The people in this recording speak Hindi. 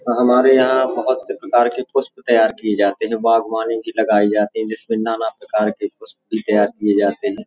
हमारे यहाँ बहुत से प्रकार के पुष्प तैयार किये जाते है। बागवानी भी लगाई जाती है। जिसमें नाना प्रकार के पुष्प भी तैयार किये जाते है।